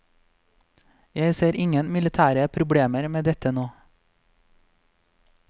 Jeg ser ingen militære problemer med dette nå.